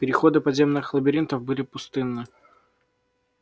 переходы подземных лабиринтов были пустынны